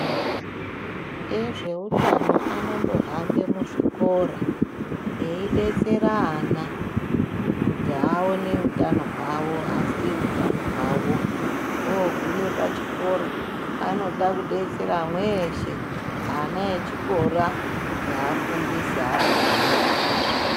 Ezveutano onombo hambe muzvikora eyidetsera ana kuti adetsere ana kuti aone utano hwavo aziye utano hwavo oguma pachikora anoda kudetsera mweshe ana echikoro neafundisi akona.